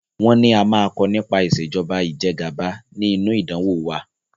Wọn ní a a máa kọ nípa ìsèjọba ìjẹgàba ni inu ìdánwò wa.